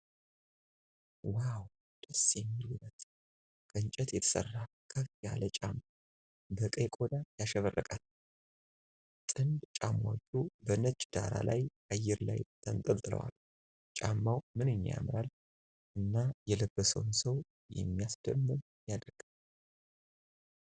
"ዋው! ደስ የሚል ውበት!" ከእንጨት የተሰራ ከፍ ያለ ጫማ በቀይ ቆዳ ያሸበረቀ ነው። ጥንድ ጫማዎቹ በነጭ ዳራ ላይ አየር ላይ ተንጠልጥለው አሉ። ጫማው "ምንኛ ያምራል!" እና የለበሰውን ሰው "የሚያስደምም" ያደርጋል።